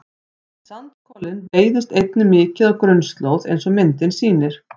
sandkolinn veiðist einnig mikið á grunnslóð eins og myndin sýnir